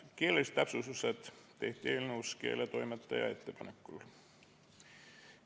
Keelelised täpsustused tehti eelnõus keeletoimetaja ettepanekul.